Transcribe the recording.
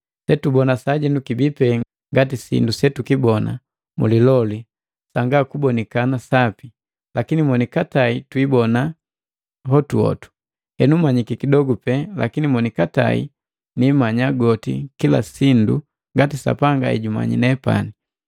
Setubona sajenu kibii pee ngati sindu setukibona muliloli sanga kubonikana sapi, lakini monikatae twiibona hotuhotu. Henu manyiki kidogo pe lakini monikatae nimanya goti kilasindu, ngati Sapanga ejumanyi nepani.